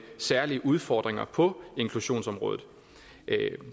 særlige udfordringer på inklusionsområdet